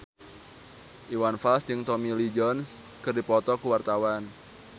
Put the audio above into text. Iwan Fals jeung Tommy Lee Jones keur dipoto ku wartawan